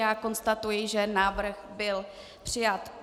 Já konstatuji, že návrh byl přijat.